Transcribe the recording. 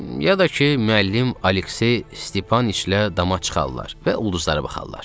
Ya da ki müəllim Aleksey Stepanıçla dama çıxarlar və ulduzlara baxarlar.